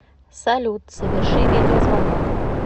салют соверши видеозвонок